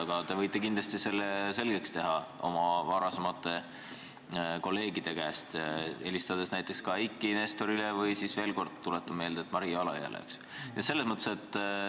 Aga te võite kindlasti selle selgeks teha, küsides oma varasemate kolleegide käest, helistades näiteks Eiki Nestorile või siis, veel kord tuletan meelde, Maria Alajõele.